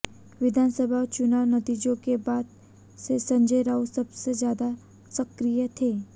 विधानसभा चुनाव नतीजों के बाद से संजय राउत सबसे ज्यादा सक्रिय थे